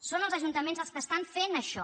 són els ajuntaments els que estan fent això